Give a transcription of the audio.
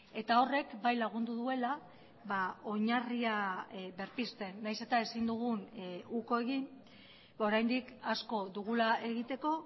eta horrek bai lagundu duela oinarria berpizten nahiz eta ezin dugun uko egin oraindik asko dugula egiteko